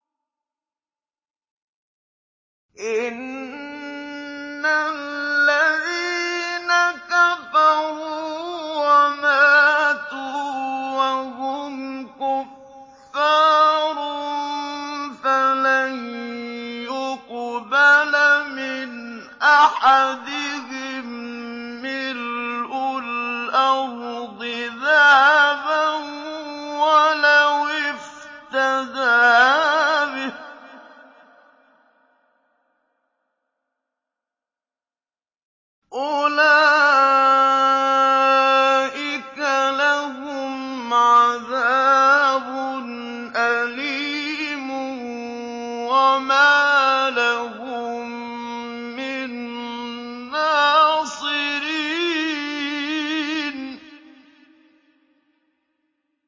إِنَّ الَّذِينَ كَفَرُوا وَمَاتُوا وَهُمْ كُفَّارٌ فَلَن يُقْبَلَ مِنْ أَحَدِهِم مِّلْءُ الْأَرْضِ ذَهَبًا وَلَوِ افْتَدَىٰ بِهِ ۗ أُولَٰئِكَ لَهُمْ عَذَابٌ أَلِيمٌ وَمَا لَهُم مِّن نَّاصِرِينَ